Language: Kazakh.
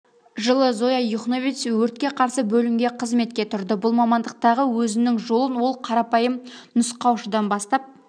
жылы зоя юхновец өртке қарсы бөлімге қызметке тұрды бұл мамандықтағы өзінің жолын ол қарапайым нұсқаушыдан бастап